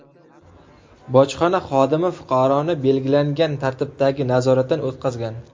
Bojxona xodimi fuqaroni belgilangan tartibdagi nazoratdan o‘tqazgan.